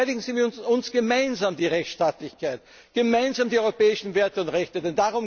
Verteidigen Sie mit uns gemeinsam die Rechtsstaatlichkeit, mit uns gemeinsam die europäischen Werte und